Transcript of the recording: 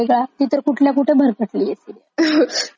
कितीदाच मारताते तिला आणि जिवंत करतात तिला आणि